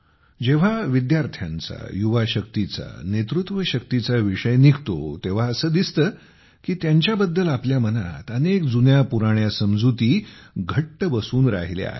जेव्हा विद्यार्थ्यांचा युवा शक्तीचा नेतृत्व शक्तीचा विषय निघतो तेव्हा असे दिसते की त्यांच्याबद्दल आपल्या मनात अनेक जुन्यापुराण्या समजुती घट्ट बसून राहिल्या आहेत